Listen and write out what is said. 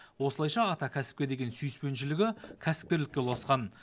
осылайша ата кәсіпке деген сүйіспеншілігі кәсіпкерлікке ұласқан